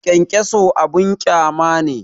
Kyankyaso abin ƙyama ne